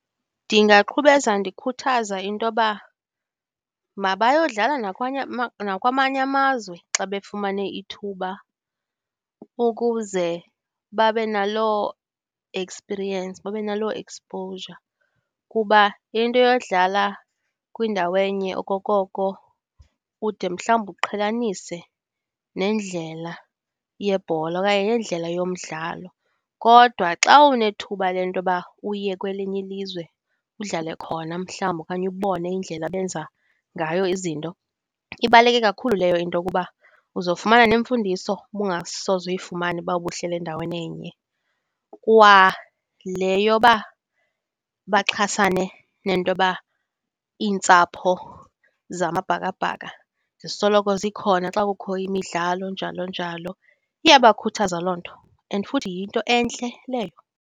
Ndingaqhubeza ndikhuthaza into yoba mabayodlala nakwamanye amazwe xa befumane ithuba ukuze babe naloo experience, babe naloo exposure. Kuba into yodlala kwindawo enye okokoko ude mhlawumbi uqhelanise nendlela yebhola okanye nendlela yomdlalo. Kodwa xa unethuba le nto yoba uye kwelinye ilizwe udlale khona mhlawumbi okanye ubone indlela abenza ngayo izinto, ibaluleke kakhulu leyo into ukuba uzofumana nemfundiso bungasoze uyifumane uba ubuhleli endaweni enye. Kwale yoba baxhasane nento yoba iintsapho zamabhakabhaka zisoloko zikhona xa kukho imidlalo njalo, njalo, iyabakhuthaza loo nto and futhi yinto entle leyo.